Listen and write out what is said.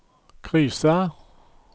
krisa